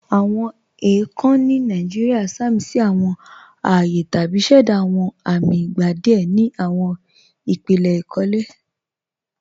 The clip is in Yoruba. Awọn èèkàn ni Nàìjíríà sàmísí awọn ààyè tàbí ṣẹ̀dá awọn amì ìgbà díẹ̀ ni awọn ìpílẹ̀ ikólẹ̀.